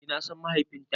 Eh na san mahaifinta.